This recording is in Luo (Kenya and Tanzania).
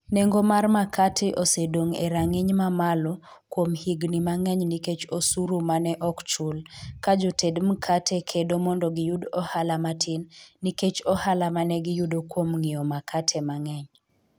Nengo mar makate osedong' e rang'iny mamalo kuom higini mang'eny nikech osuru ma ne ok ochul, ka joted mkate kedo mondo giyud ohala matin nikech ohala ma ne giyudo kuom ng'iewo makate mang'eny.